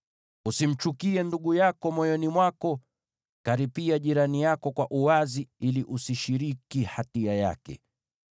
“ ‘Usimchukie ndugu yako moyoni mwako. Karipia jirani yako kwa uwazi ili usishiriki hatia yake.